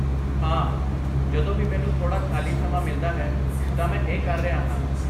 ਹਾਂ, ਜਦੋਂ ਵੀ ਮੈਨੂੰ ਥੋੜਾ ਖਾਲੀ ਸਮਾਂ ਮਿਲਦਾ ਹੈ ਤਾਂ ਮੈਂ ਇਹ ਕਰ ਰਿਹਾ ਹਾਂ।